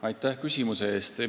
Aitäh küsimus eest!